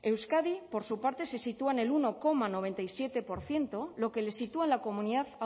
euskadi por su parte se sitúa en el uno coma noventa y siete por ciento lo que le sitúa en la comunidad